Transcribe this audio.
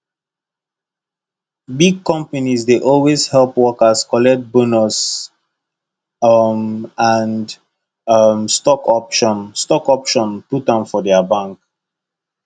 big companies dey always help workers collect bonus um and um stock option stock option put am for their bank